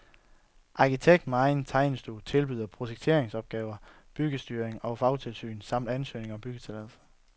Arkitekt med egen tegnestue tilbyder projekteringsopgaver, byggestyring og fagtilsyn samt ansøgning om byggetilladelse.